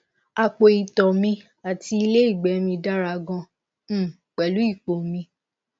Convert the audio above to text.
apo ito mi ati ile igbe mi dara gan um pelu ipo mi